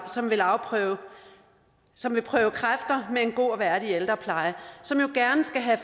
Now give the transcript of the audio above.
som vil som vil prøve kræfter med en god og værdig ældrepleje som jo gerne skulle have